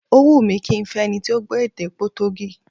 Ó wùn mí kí n fẹ́ ẹni tí ó gbọ́ èdè Potogí